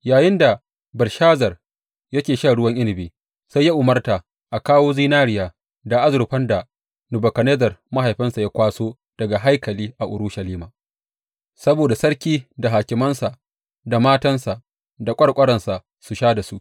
Yayinda Belshazar yake shan ruwan inabi, sai ya umarta a kawo zinariya da azurfan da Nebukadnezzar mahaifinsa ya kwaso daga haikali a Urushalima, saboda sarki da hakimansa, da matansa da ƙwarƙwaransa su sha da su.